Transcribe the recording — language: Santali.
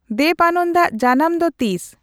ᱫᱮᱵᱽ ᱟᱱᱚᱱᱫᱚ ᱟᱜ ᱡᱟᱱᱟᱢ ᱫᱚ ᱛᱤᱥ